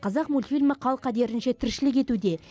қазақ мультфильмі қал қадірінше тіршілік етуде